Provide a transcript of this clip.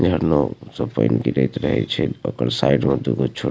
झरनों से पेन गिरत रहे छै ओकर साइड में दू गो छोट --